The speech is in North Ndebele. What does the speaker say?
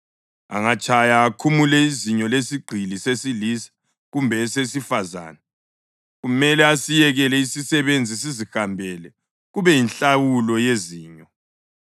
Angatshaya akhumule izinyo lesigqili sesilisa kumbe esesifazane, kumele asiyekele isisebenzi sizihambele kube yinhlawulo yezinyo.